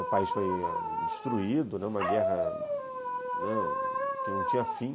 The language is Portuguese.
O país foi destruído, uma guerra, né, que não tinha fim.